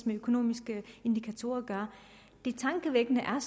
med økonomiske indikatorer at gøre det tankevækkende er